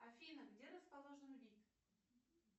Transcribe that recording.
афина где расположен вид